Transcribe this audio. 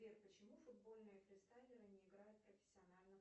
сбер почему футбольные фристайлеры не играют профессионально